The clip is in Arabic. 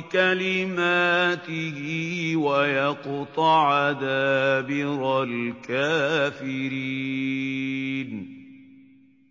بِكَلِمَاتِهِ وَيَقْطَعَ دَابِرَ الْكَافِرِينَ